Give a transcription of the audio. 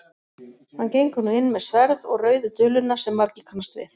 Hann gengur nú inn með sverð og rauðu duluna sem margir kannast við.